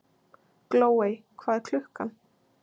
Glóey, hvað er klukkan?